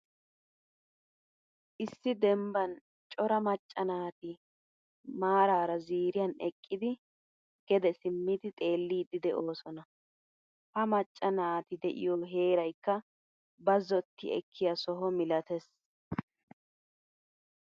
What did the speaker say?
Issi dembban cora macca naati maararaziiriyan eqqidi gede simmidi xeellidi deosona. Ha macca naati de'iyo heeraykka bazzoti ekkiya soho milattees.